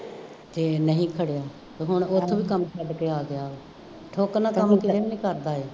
ਇਹ ਨਹੀਂ ਖੜਿਆ ਅਤੇ ਹੁਣ ਉੱਥੋਂ ਵੀ ਕੰਮ ਛੱਡ ਕੇ ਆ ਗਿਆ ਨਾਲ ਕੰੰਮ ਕਿਤੇ ਨਹੀਂ ਕਰਦਾ ਇਹ